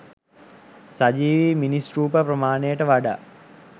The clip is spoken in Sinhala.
සජීවී මිනිස් රූප ප්‍රමාණයට වඩා